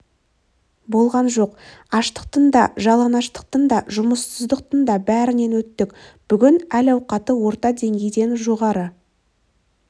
болған жоқ аштықтың да жалаңаштықтың да жұмыссыздықтың да бәрінен өттік бүгін әл-ауқаты орта деңгейден жоғары